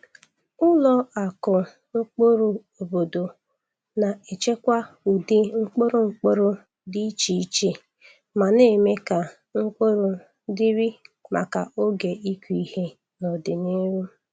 Ụlọ akụ mkpụrụ obodo na-echekwa ụdị mkpụrụ mkpụrụ dị iche iche ma na-eme ka mkpụrụ dịrị maka oge ịkụ ihe n’ọdịnihu.